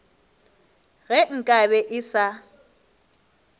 ge nka be e sa